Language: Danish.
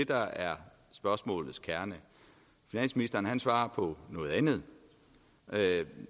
der er spørgsmålets kerne finansministeren svarer på noget andet